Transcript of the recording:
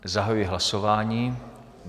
Zahajuji hlasování.